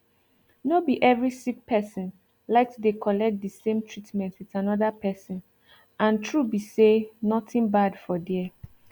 no be every sick person like to dey collect the same treatment with another person and true be say nothing bad for there